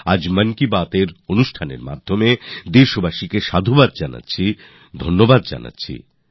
আজ মনের কথার মাধ্যমে দেশবাসীদের সাধুবাদ জানাই ধন্যবাদ দিতে চাই